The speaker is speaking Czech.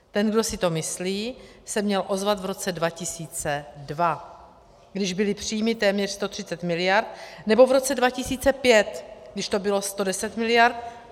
Ten, kdo si to myslí, se měl ozvat v roce 2002, když byly příjmy téměř 130 miliard, nebo v roce 2005, když to bylo 110 miliard.